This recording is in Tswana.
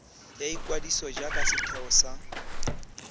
ya ikwadiso jaaka setheo sa